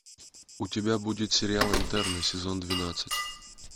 у тебя будет сериал интерны сезон двенадцать